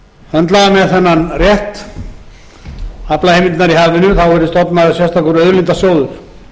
höndla með þennan rétt aflaheimildirnar í hafinu verði stofnaður sérstakur auðlindasjóður